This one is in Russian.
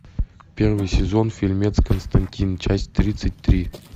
первый сезон фильмец константин часть тридцать три